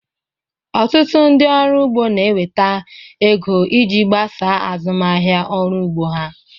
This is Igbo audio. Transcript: Ọtụtụ ndị ọrụ ugbo na-enweta ego iji gbasaa azụmahịa ọrụ ugbo ha